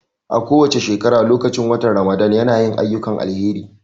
A kowace shekara lokacin watan Ramadan ya na yin ayyukan alheri